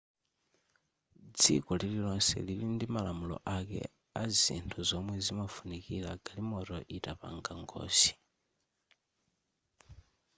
dziko lilonse lili ndimalamulo ake azinthu zomwe zimafunikira galimoto itapanga ngozi